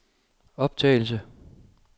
optagelse